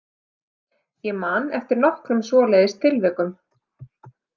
Ég man eftir nokkrum svoleiðis tilvikum.